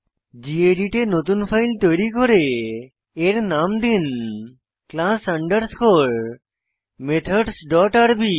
gedit এ নতুন file তৈরী করে এর নাম দিন ক্লাস আন্ডারস্কোর মেথডস ডট আরবি